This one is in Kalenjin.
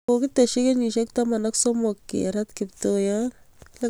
Kogeteshii kenyisheek taman ak somok keratee Kiptoiyot